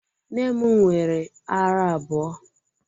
Nne m nwere árá abụọ.